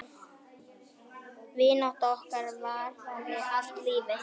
Vinátta okkar varaði allt lífið.